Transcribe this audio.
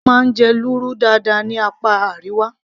wọ́n máa ń jẹ lúrú dáadáa ní apá Àríwá